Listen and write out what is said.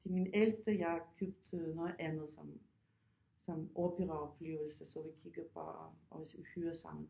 Til min ældste jeg købt noget andet som som operaoplevelse så vi kigger bare og hører sammen